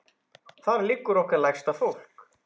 Þar liggur okkar lægsta fólk.